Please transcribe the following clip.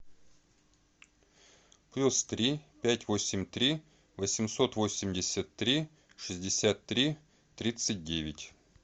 плюс три пять восемь три восемьсот восемьдесят три шестьдесят три тридцать девять